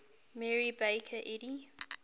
mary baker eddy